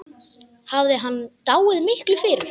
Hafði hann dáið miklu fyrr?